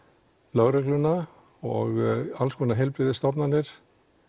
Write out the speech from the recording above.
lögregluna og alls konar heilbrigðisstofnanir